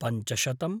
पञ्चशतम्